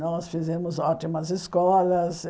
Nós fizemos ótimas escolas.